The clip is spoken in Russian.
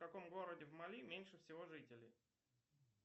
в каком городе в мали меньше всего жителей